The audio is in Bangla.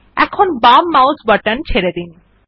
এখন বাম মাউস বাটন ছেড়ে দিন